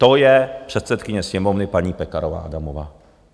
To je předsedkyně Sněmovny paní Pekarová Adamová.